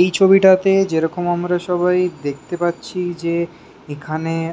এই ছবিটাতে যেরকম আমরা সবাই দেখতে পাচ্ছি যে এখানে এ